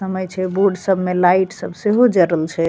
समय छे बोर्ड सब में लाइट सब से हो जा रहल छे।